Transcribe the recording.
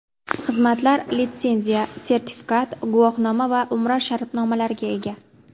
Xizmatlar litsenziya, sertifikat, guvohnoma va Umra shartnomalariga ega.